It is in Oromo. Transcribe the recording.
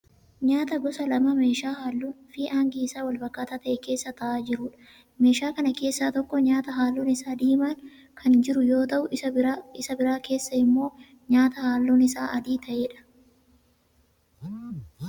Nyaata gosa lama meeshaa halluun fi hangi isaa wal fakkaataa ta'e keessa ta'aa jiruudha. Meeshaa kana keessa tokko nyaata halluun isaa diimaan kan jiru yoo ta'u isa biraa keessa immoo nyaata halluun isaa adii ta'eedha.